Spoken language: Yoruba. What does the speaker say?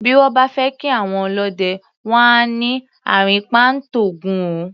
Bí wọ́n bá fẹ́ kí àwọn ọlọ́dẹ, wọ́n á ní "àrìnpa ń t'Ògún o".